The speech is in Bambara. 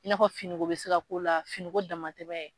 I n'a fɔ finiko bɛ se ka k'o la finiko dama tɛ dɛ